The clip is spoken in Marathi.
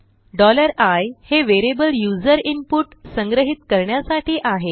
i हे वेरियबल यूज़र इनपुट संग्रहीत करण्यासाठी आहे